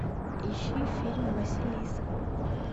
ищи фильм василиса